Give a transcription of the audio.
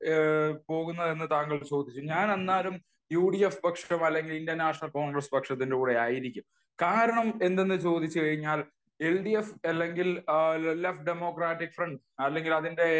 പോകുന്നതെന്ന് താങ്കൾ ചോദിച്ചു. ഞാൻ എന്നാലും യു ഡി എഫ് പക്ഷം അല്ലെങ്കിൽ ഇന്ത്യൻ നാഷനൽ കോൺഗ്രസ്സ് പക്ഷത്തിന്റെ കൂടെ ആയിരിക്കും. കാരണം, എന്തെന്ന് ചോദിച്ചു കഴിഞ്ഞാൽ എൽ ഡി എഫ് അല്ലെങ്കിൽ ലെഫ്റ്റ് ഡെമോക്രാറ്റിക് ഫ്രണ്ട്, അതിന്റെ